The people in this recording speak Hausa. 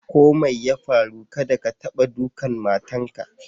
Ko mai ya farru, kadda ka taɓa ɗukan matan ka!